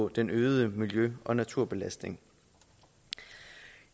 den øgede miljø og naturbelastning